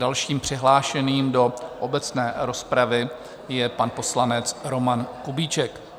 Dalším přihlášeným do obecné rozpravy je pan poslanec Roman Kubíček.